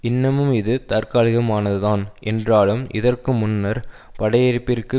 இன்னமும் இது தற்காலிகமானதுதான் என்றாலும் இதற்கு முன்னர் படையெடுப்பிற்கு